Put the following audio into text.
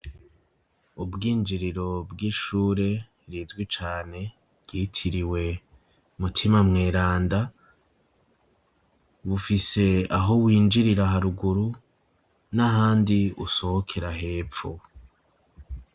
Ubwinjiriro bw'ishure rizwi cane, ryitiriwe mutima mweranda, bufise aho winjirira haruguru n'ahandi usohokera hepfo.